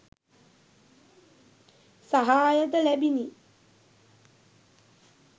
සහාය ද ලැබුණි.